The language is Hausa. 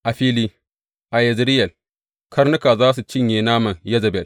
A fili, a Yezireyel, karnuka za su cinye naman Yezebel.